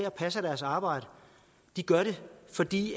og passer deres arbejde gør det fordi